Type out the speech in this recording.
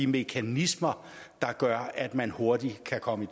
mekanismer der gør at man hurtigt kan komme